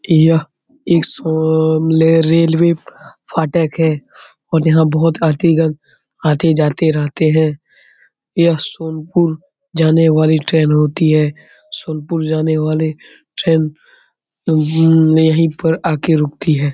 यह रेलवे फाटक है और यहाँ बहुत आती आती-जाती रहते है यह सोनपुर जाने वाली ट्रेन होती है सोनपुर जाने वाली ट्रेन यही पर आ के रूकती है।